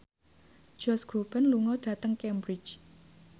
Josh Groban lunga dhateng Cambridge